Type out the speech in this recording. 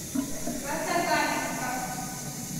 краснокаменском